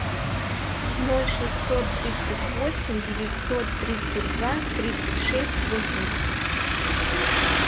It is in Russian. ноль шестьсот тридцать восемь девятьсот тридцать два тридцать шесть восемьдесят